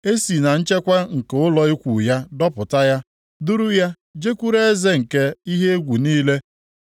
Esi na nchekwa nke ụlọ ikwu ya dọpụta ya duru ya jekwuru eze nke ihe egwu niile.